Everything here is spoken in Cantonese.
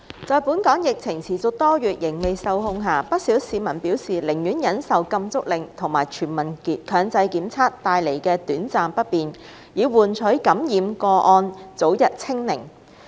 在本港疫情持續多月仍未受控下，不少市民表示寧願忍受"禁足令"和全民強制檢測帶來的短暫不便，以換取感染個案早日"清零"。